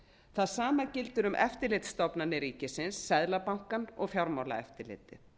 það sama gildir um eftirlitsstofnanir ríkisins seðlabankann og fjármálaeftirlitið